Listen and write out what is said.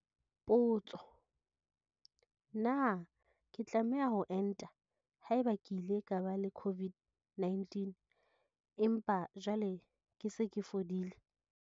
Potso- Na ke tlameha ho enta haeba ke ile ka ba le COVID-19 empa jwale ke se ke fodile?